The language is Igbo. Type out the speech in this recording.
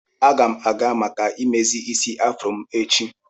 Aga m aga maka mmezi isi afro m echi.